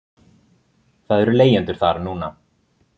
Það eru leigjendur þar núna.